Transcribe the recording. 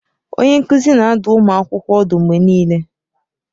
Onye nkuzi na-adụ ụmụ akwụkwọ ọdụ mgbe niile.